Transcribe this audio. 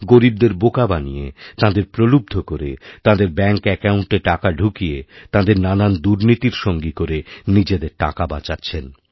গরীবদের বোকা বানিয়ে তাঁদেরপ্রলুব্ধ করে তাঁদের ব্যাঙ্ক অ্যাকাউন্টে টাকা ঢুকিয়ে তাঁদের নানান দুর্নীতিরসঙ্গী করে নিজেদের টাকা বাঁচাচ্ছেন